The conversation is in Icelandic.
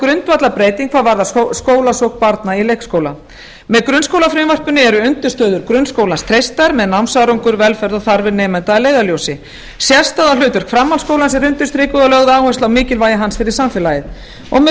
grundvallarbreyting hvað varðar skólasókn barna i leikskóla með grunnskólafrumvarpinu eru undirstöður grunnskólans treystar með námsárangur velferð og þarfir nemenda að leiðarljósi sérstaða og hlutverk framhaldsskólans eru undirstrikuð og lögð áhersla á mikilvægi hans fyrir samfélagið og með frumvarpi um